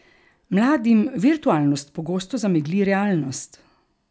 Mladim virtualnost pogosto zamegli realnost.